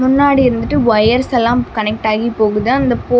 முன்னாடி இருந்துட்டு ஒயர்ஸ் ஸெல்லாம் கனெக்ட் டாகி போகுது அந்த போ --